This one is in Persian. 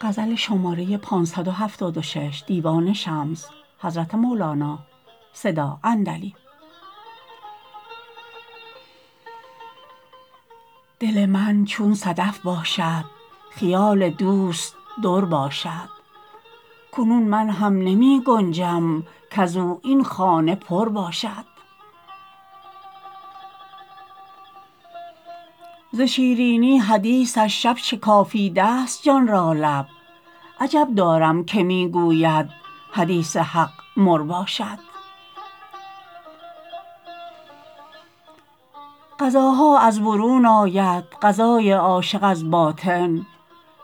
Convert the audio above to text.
دل من چون صدف باشد خیال دوست در باشد کنون من هم نمی گنجم کز او این خانه پر باشد ز شیرینی حدیثش شب شکافیده ست جان را لب عجب دارم که می گوید حدیث حق مر باشد غذاها از برون آید غذای عاشق از باطن